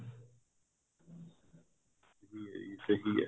ਸਹੀ ਏ